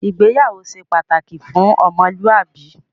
Ìgbéyàwó ṣe pàtàkì fún ọmọlúàbí